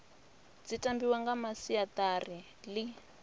dzi tambiwa nga masiari ḽi